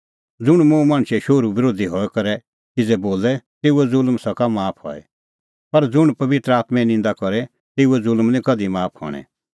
ज़ुंण मुंह मणछे शोहरूओ बरोधी हई करै किज़ै बोले तेऊओ ज़ुल्म सका हई माफ पर ज़ुंण पबित्र आत्में निंदा करे तेऊए ज़ुल्म निं कधि माफ हणैं